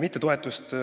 mitte.